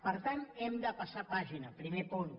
per tant hem de passar pàgina primer punt